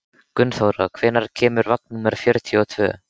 Gunnþóra, hvenær kemur vagn númer fjörutíu og tvö?